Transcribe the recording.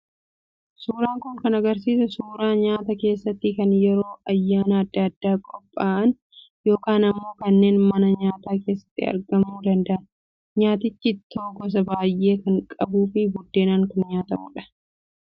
Suuraan kun kan agarsiisu suuraa nyaataa keessattuu kan yeroo ayyaana adda addaa qophaa'an yookaan immoo kanneen mana nyaataa keessatti argamuu danda'an. Nyaatichi ittoo gosa baay'ee kan qabuu fi buddeenaan kan nyaatamudha.